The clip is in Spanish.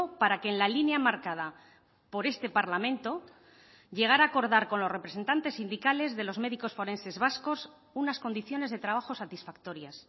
para que en la línea marcada por este parlamento llegar a acordar con los representantes sindicales de los médicos forenses vascos unas condiciones de trabajo satisfactorias